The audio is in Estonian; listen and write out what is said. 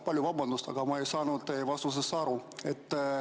Palun vabandust, aga ma ei saanud teie vastusest aru.